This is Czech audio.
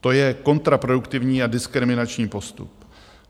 To je kontraproduktivní a diskriminační postup.